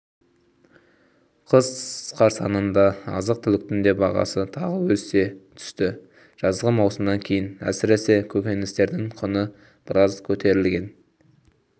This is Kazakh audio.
қыс қарсаңында азық-түліктің де бағасы тағы өсе түсті жазғы маусымнан кейін әсіресе көкөністердің құны біраз көтерілген